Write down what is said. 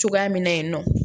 Cogoya min na yen nɔ